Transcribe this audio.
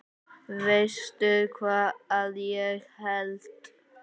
Veistu hvað ég held?